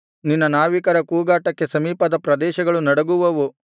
ನಿನ್ನ ನಾವಿಕರ ಕೂಗಾಟಕ್ಕೆ ಸಮೀಪದ ಪ್ರದೇಶಗಳು ನಡುಗುವುವು